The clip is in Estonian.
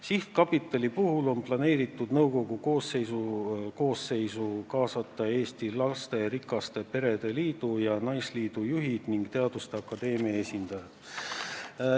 Sihtkapitali puhul on planeeritud nõukogu koosseisu kaasata Eesti Lasterikaste Perede Liidu ja Eesti Naisliidu juhid ning Eesti Teaduste Akadeemia esindajad.